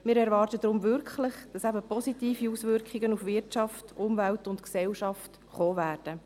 Wir erwarten deshalb wirklich, dass es positive Auswirkungen auf Wirtschaft, Umwelt und Gesellschaft geben wird.